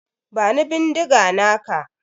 Bani bindiga naka.